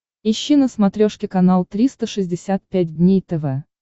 ищи на смотрешке канал триста шестьдесят пять дней тв